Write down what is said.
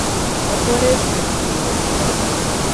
Tako res ne bi smel reagirati.